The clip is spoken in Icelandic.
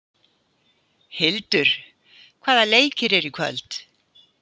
Hildur, hvaða leikir eru í kvöld?